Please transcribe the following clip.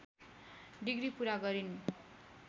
degree पुरा गरिन्